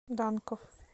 данков